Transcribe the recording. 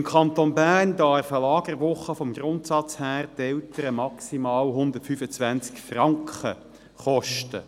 Im Kanton Bern darf eine Lagerwoche vom Grundsatz her die Eltern maximal 125 Franken kosten.